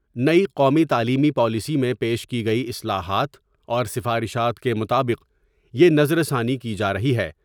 نئی قومی تعلیمی پالیسی میں پیش کی گئی اصلاحات اور سفارشات کے مطابق یہ نظر ثانی کی جارہی ہے ۔